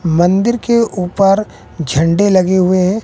मंदिर के ऊपर झंडे लगे हुए--